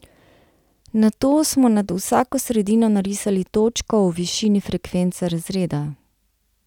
Nato smo nad vsako sredino narisali točko v višini frekvence razreda.